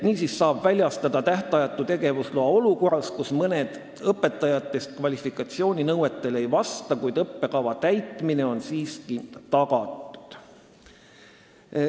Niisiis saab väljastada tähtajatu tegevusloa ka olukorras, kus mõni õpetaja kvalifikatsiooninõuetele ei vasta, kuid õppekava täitmine on siiski tagatud.